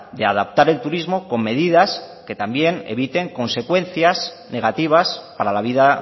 de adaptar el turismo con medidas que también eviten consecuencias negativas para la vida